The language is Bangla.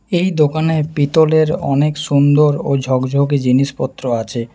এই দোকানে পিতলের অনেক সুন্দর ও ঝকঝকে জিনিসপত্র আছে।